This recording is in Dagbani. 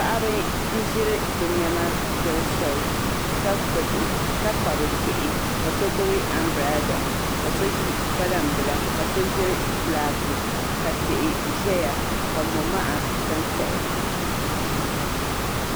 Paɣaba n ʒiri bi niɛma doli soli ka kpabi bihi ka so gbubi anbirɛla ka so ʒi kpalaŋ so ʒiri fulaaki ka tihi ʒɛya ka momaha sansaya